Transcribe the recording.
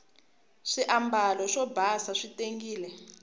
swiambalo swo basa swi tengile